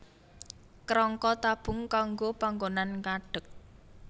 Kerangka tabung kanggo panggonan ngadeg